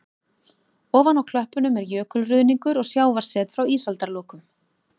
Ofan á klöppunum er jökulruðningur og sjávarset frá ísaldarlokum.